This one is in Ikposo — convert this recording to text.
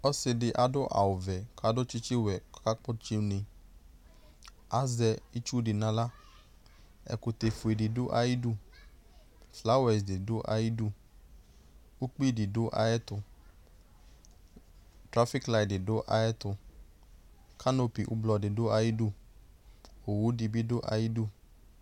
Ɔsɩ dɩ adʋ avʋvɛ kʋ adʋ tsɩtsɩwɛ kʋ ɔkakpɔtsɩ une Azɛ itsu dɩ nʋ aɣla Ɛkʋtɛfue dɩ dʋ ayɩdu Flawɛs dɩ dʋ ayɩdu, ukpi dɩ dʋ ayɛtʋ Klafɩklayɩ dɩ dʋ ayɛtʋ, kanopi ʋblɔ dɩ dʋ ayɩdu, owu dɩ bɩ dʋ ayɩdu